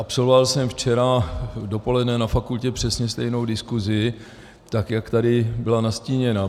Absolvoval jsem včera dopoledne na fakultě přesně stejnou diskuzi, tak jak tady byla nastíněna.